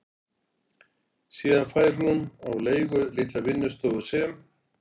Síðan fær hún á leigu litla vinnustofu sem